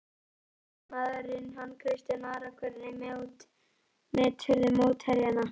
Leiknismanninn hann Kristján Ara Hvernig meturðu mótherjana?